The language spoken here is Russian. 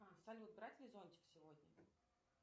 салют брать ли зонтик сегодня